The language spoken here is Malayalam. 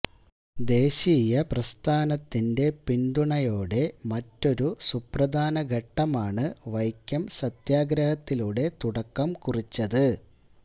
ദേശീയപ്രസ്ഥാനത്തിന്റെ പിന്തുണയോടെ മറ്റൊരു സുപ്രധാന ഘട്ടമാണ് വൈക്കം സത്യഗ്രഹത്തിലൂടെ തുടക്കം കുറിച്ചത്